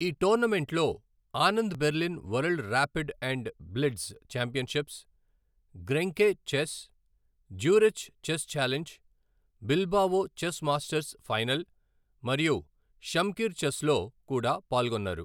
ఈ టోర్నమెంట్ల్లో, Anand Berlin world rapid and blitz championships, Grenke chess, Zurich chess challenge, Bilbao chess masters final, మరియు Shamkir చెస్ల్లో కూడా పాల్గొన్నారు.